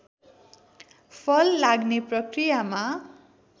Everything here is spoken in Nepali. फल लाग्ने प्रकियामा